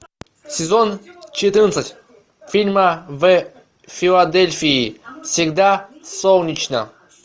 сезон четырнадцать фильма в филадельфии всегда солнечно